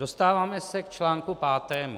Dostáváme se k článku pátému.